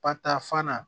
Patafan na